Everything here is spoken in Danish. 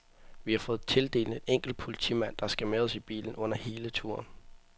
Vi har fået tildelt en enkelt politimand, der skal med os i bilen under hele turen.